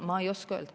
Ma ei oska öelda.